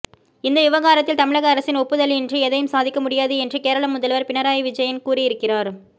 இந்த விவகாரத்தில் தமிழக அரசின் ஒப்புதலின்றி எதையும் சாதிக்க முடியாது என்று கேரள முதல்வர் பினராயி விஜயன் கூறியிருக்கிறார்